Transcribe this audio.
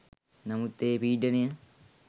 නමුත් ඒ පීඩනය